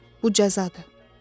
Bu cəzadır.